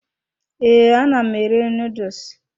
Ee, ana m eri noodles.